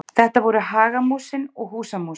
þetta voru hagamúsin og húsamúsin